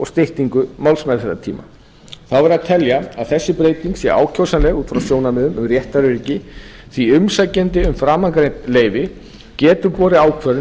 styttingu málsmeðferðartíma þá verður að telja að þessi breyting sé ákjósanleg út frá sjónarmiðum um réttaröryggi því umsækjandi um framangreind leyfi getur borið ákvörðun